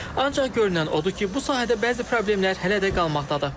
Ancaq görünən odur ki, bu sahədə bəzi problemlər hələ də qalmaqdadır.